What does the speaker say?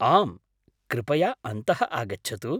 आम्, कृपया अन्तः आगच्छतु।